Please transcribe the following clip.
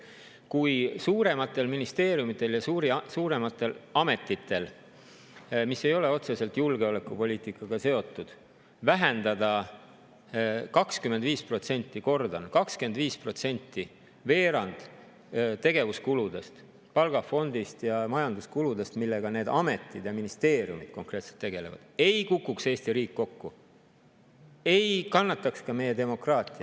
Kui suurematel ministeeriumidel ja suurematel ametitel, mis ei ole otseselt julgeolekupoliitikaga seotud, vähendada 25% – kordan: 25% – ehk veerand tegevuskuludest, palgafondist ja majanduskuludest, millega need ametid ja ministeeriumid konkreetselt tegelevad, siis ei kukuks Eesti riik kokku, ei kannataks ka meie demokraatia …